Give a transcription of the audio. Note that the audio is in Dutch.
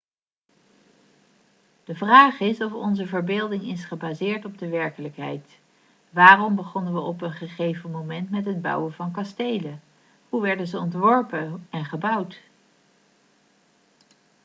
de vraag is of onze verbeelding is gebaseerd op de werkelijkheid waarom begonnen we op een gegeven moment met het bouwen van kastelen hoe werden ze ontworpen en gebouwd